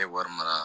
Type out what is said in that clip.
Ne wari mara